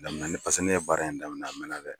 Laminani pase ne ye baara in daminɛ a mɛnna dɛ.